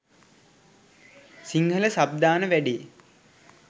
Sinhala sub දාන වැඩේ